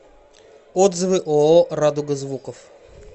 отзывы ооо радуга звуков